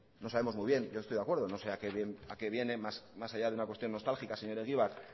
no sabemos muy bien no estoy de acuerdo no sé a que viene más allá de una cuestión nostálgica señor egibar